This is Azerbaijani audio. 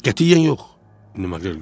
Qətiyyən yox, Maqrel qışqırdı.